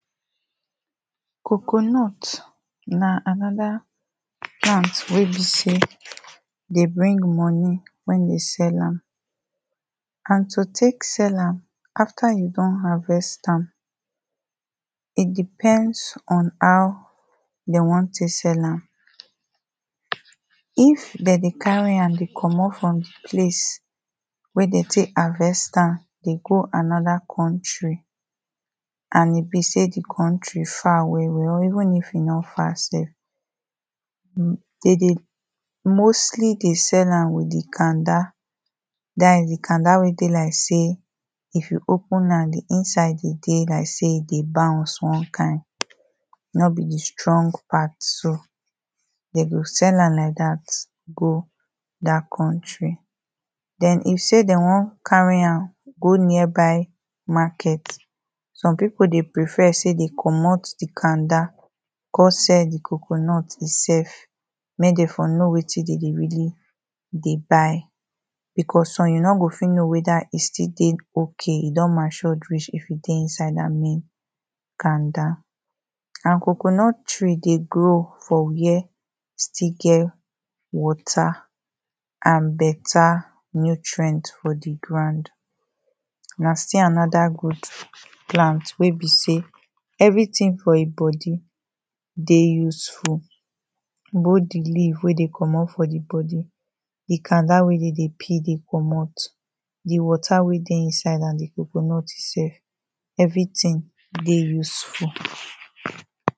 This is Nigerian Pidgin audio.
Coconut na another plant wey be sey, dey bring money wen you sell am. And to take sell am, after you don harvest am, e depends on how dem wan take sell am, if dem dey carry am dey komot from di place, wen dem take harvest am, dey go another country and e be sey di country far well well, or even sey e nor far sef, dem dey mostly dey sell am with di kanda, dat is di kanada wey dey like sey, if you open am, di inside dey dey like sey e dey bounce one kind, nor bi di strong part so. Dem go sell am like dat go dat country, den if sey dem wan carry am go nearby market, some people dey prefer sey dem komot di kanda, come sell di coconut im self, make dem for know wetin de really dey buy, because some you nor go fit know wheter e dey okay, e don matured reach if e dey inside dat main kanda. And coconut tree dey grow, for where still get water and better nutrient for di ground. Na still another good lant wey be sey, everything for im body dey useful. Both di leave wey dey komot for di body, di kanda wey dem dey peel dey komot, di water wey dey inside, and di coconut im self, everything dey useful.